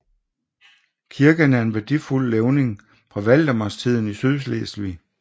Kirken er en værdifuld levning fra valdemarstiden i Sydslesvig